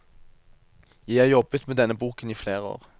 Jeg har jobbet med denne boken i flere år.